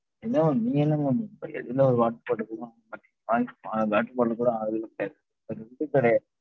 என்ன mam நீங்க என்ன mam balance பண்றதுக்கு கூட ஆள் கிடையாது